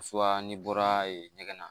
n'i bɔra ɲɛgɛn na